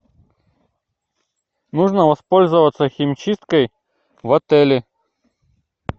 можно воспользоваться химчисткой в отеле